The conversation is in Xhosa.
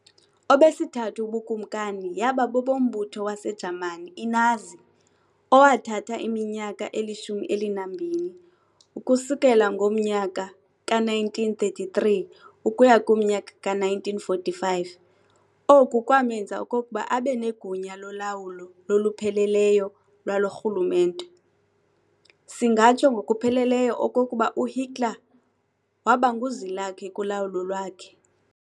Obesithathu ubuKumkani yaba bobombutho waseJamani iNazi, owathatha iminyaka eli-12, ukusukela ngomyaka ka-1933 ukuya kumnyaka ka-1945. Oku kwamenza okokuba abenegunya lolawulo lolupheleleyo lwalo rhulumente. Singatsho ngokupheleleyo okokuba uHitler wabanguzwilakhe kulawulo lwakhe.